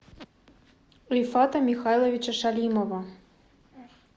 рифата михайловича шалимова